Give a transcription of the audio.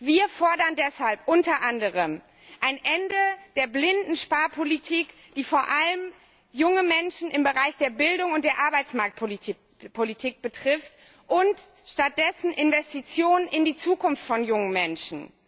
Wir fordern deshalb unter anderem ein Ende der blinden Sparpolitik, die vor allem junge Menschen im Bereich der Bildung und der Arbeitsmarktpolitik betrifft, und stattdessen Investitionen in die Zukunft von jungen Menschen.